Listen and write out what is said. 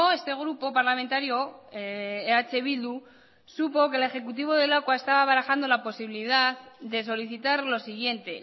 este grupo parlamentario eh bildu supo que el ejecutivo de lakua estaba barajando la posibilidad de solicitar lo siguiente